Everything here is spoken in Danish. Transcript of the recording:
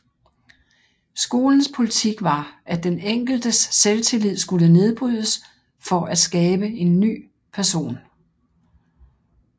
Skolens politik var at den enkeltes selvtillid skulle nedbrydes for at skabe en ny person